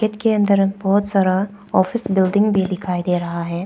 Gate के अन्दर बहुत सारा ऑफिस बिल्डिंग भी दिखाई दे रहा है।